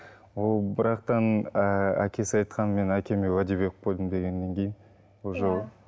ол бірақ та м ы әкесі айтқан мен әкеме уәде беріп қойдым дегеннен кейін уже